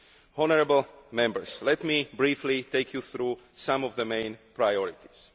Honourable Members, let me briefly take you through some of the main priorities.